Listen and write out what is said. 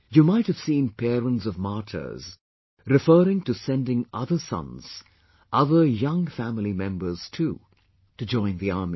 You might have seen parents of martyrs referring to sending other sons, other young family members too, to join the army